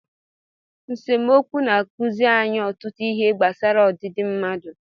Nsemokwu na-akụzi anyị ọtụtụ ihe gbasara ọdịdị mmadụ.